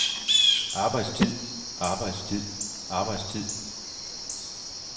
arbejdstid arbejdstid arbejdstid